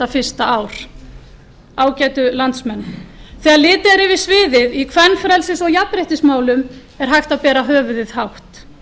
fyrsta ár ágætu landsmenn þegar litið er yfir sviðið í kvenfrelsis og jafnréttismálum er hægt að bera höfuðið hátt